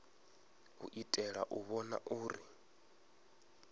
u itela u vhona uri